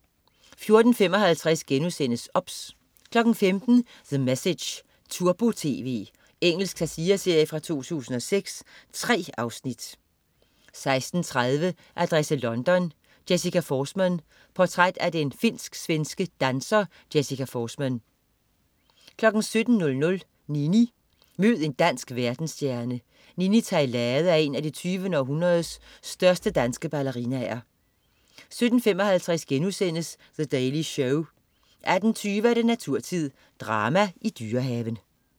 14.55 OBS* 15.00 The Message, turbo-tv. Engelsk satireserie fra 2006. 3 afsnit 16.30 Adresse London: Jessica Forsman. Portræt af den finsk-svenske danser Jessica Forsman 17.00 Nini. Mød en dansk verdensstjerne. Nini Theilade er en af det 20. århundredes største danske ballerinaer 17.55 The Daily Show* 18.20 Naturtid. Drama i Dyrehaven